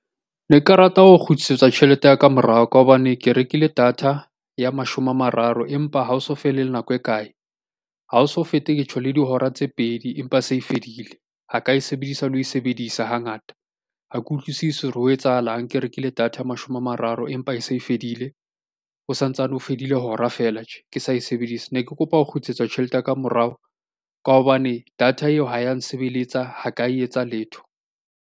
Ne ka rata ho kgutlisetswa tjhelete ya ka morao ka hobane ke rekile data ya mashome a mararo, empa ha o so fele le nako e kae? Ha o so fete ke tjho le dihora tse pedi empa se e fedile, ha ka e sebedisa le ho e sebedisa hangata. Ha ke utlwisisi hore ho etsahalang ke rekile data ya mashome a mararo, empa e se e fedile. Ho sa ntsane ho fedile hora feela tje, ke sa e sebedisa. Ne ke kopa ho kgutlisetswa tjhelete ya ka morao ka hobane data eo ha ya nsebeletsa, ha ka e etsa letho.